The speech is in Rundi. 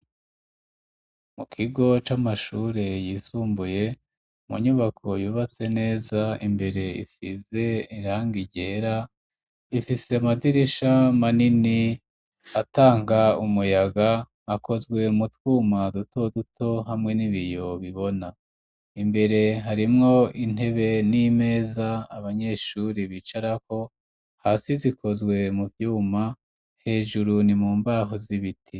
mu kigo c'amashuri yisumbuye mu nyubako yubatse neza imbere ifise irangi ryera ifise amadirisha manini atanga umuyaga akozwe mutwuma duto duto hamwe n'ibiyo bibona imbere harimwo intebe n'imeza abanyeshuri bicaraho hasi zikozwe mu vyuma hejuru ni mu mbaho z'ibiti